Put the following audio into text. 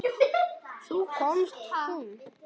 Þá kom hún.